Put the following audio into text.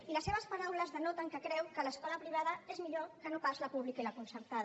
i les seves paraules denoten que creu que l’escola privada és millor que no pas la pública i la concertada